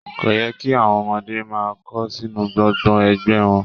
Kò yẹ kí àwọn ọmọdé máa kó sínú gbọ́ngbọ̀n ẹgbẹ wọn.